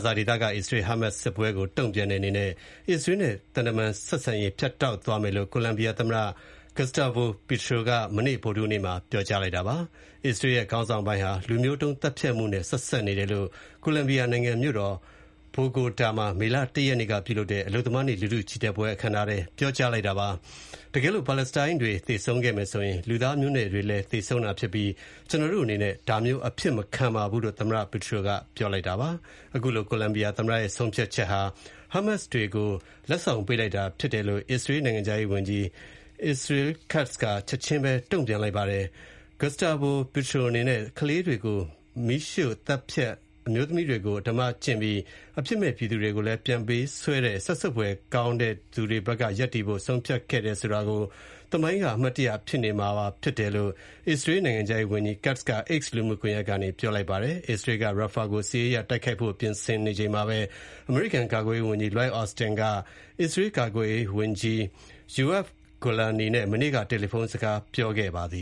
ဇာဒေသက အစ္စရေး-ဟားမတ်စ်စစ်ပွဲကို တုံ့ပြန်တဲ့အနေနဲ့ အစ္စရေး နဲ့ သံတမန်ဆက်ဆံရေး ဖြတ်တောက်သွားမယ်လို့ ကိုလံဘီယာသမ္မတ Gustavo Petro က မနေ့ ဗုဒ္ဓဟူးနေ့မှာ ပြောကြားလိုက်ပါတယ်။ အစ္စရေးရဲ့ ခေါင်းဆောင်ပိုင်းဟာ လူမျိုးတုံးသတ်ဖြတ်မှု နဲ့ ဆက်စပ်နေတယ်လို့ ကိုလံဘီယာနိုင်ငံမြို့တော် ဘိုဂိုတာမှာ မေလ ၁ ရက်နေ့ ပြုလုပ်တဲ့ အလုပ်သမားနေ့ လူထု ချီတက်ပွဲ အခမ်းအနားမှာ ပြောကြားလိုက်ပါတယ်။ တကယ်လို့ ပါလက်စတိုင်းတွေ သေဆုံးခဲ့မယ်ဆိုရင်၊ လူသားမျိုးနွယ်တွေလည်း သေဆုံးတာဖြစ်ပြီး၊ ကျနော်တို့အနေနဲ့ ဒါမျိုးအဖြစ်မခံပါဘူးလို့ သမ္မတ Petro က ပြောပါတယ်။ အခုလို ကိုလံဘီယာသမ္မတရဲ့ဆုံးဖြတ်ချက်ဟာ Hamas တွေကို လက်ဆောင်ပေးလိုက်တာဖြစ်တယ်လို့ အစ္စရေး နိုင်ငံခြားရေးဝန်ကြီး Israel Katz က ချက်ချင်းပဲ ပြန်တုံ့ပြန်လိုက်ပါတယ်။ Gustavo Petro အနေနဲ့ ကလေးတွေကို မီးရှို့ သတ်ဖြတ်၊ အမျိုးသမီးတွေကို အဓမ္မပြုကျင့်ပြီး အပြစ်မဲပြည်သူတွေကို ပြန်ပေးဆွဲတဲ့ စက်ဆုပ်ဖွယ်ကောင်းတဲ့သူတွေဘက်က ရပ်တည်ဖို့ ဆုံးဖြတ်ခဲ့တယ်ဆိုတာကို သမိုင်းက အမှတ်ရနေမှာဖြစ်တယ်လို့ အစ္စရေးနိုင်ငံခြားရေးဝန်ကြီး Katz က X လူမှုကွန်ရက်က ပြောလိုက်ပါတယ်။ အစ္စရေးက Rafah ကို စစ်ရေးအရတိုက်ခိုက်ဖို့ ပြင်ဆင်နေချိန်မှာပဲ၊ အမေရိကန်ကာကွယ်ရေးဝန်ကြီး Lloyd Austin ဟာ အစ္စရေးကာကွယ်ရေးဝန်ကြီး Yoav Gallant နဲ့ မနေ့က တယ်လီဖုန်းနဲ့ စကားပြောခဲ့ကြပါတယ